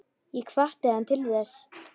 Ég hvatti hann til þess.